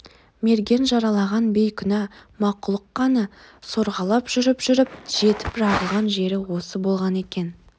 мерген жаралаған бейкүнә мақұлық қаны сорғалап жүріп-жүріп жетіп жығылған жері осы болған екен